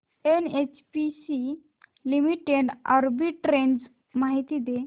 NHPC limited arbitrage माहिती दे